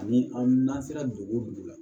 Ani an n'an sera dugu o dugu la